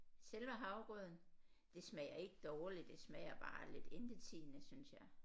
Selve havregrøden det smager ikke dårligt det smager bare lidt intetsigende synes jeg